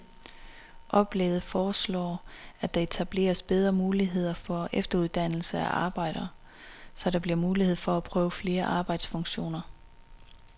Oplægget foreslår, at der etableres bedre muligheder for efteruddannelse af arbejdere, så der bliver mulighed for at prøve flere arbejdsfunktioner.